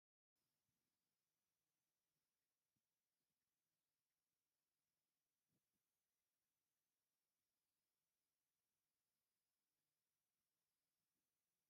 ዶ/ር ደብረፅዮን ገብረሚካኤል ይበሃሉ ፡ኣብ ትግራን ናይ ክልል መራሒ ኮይኖም እንዳሰርሑ ኣብዝነበሩሉ ግዜ ትግራይ ናብ ጦርነት ኣትያ ነይራ ፡ ሎሚኸ እንታይ ይሰርሑ ኣለዉ ?